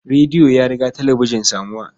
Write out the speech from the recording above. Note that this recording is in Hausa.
Radio ya riga talabijin samuwa.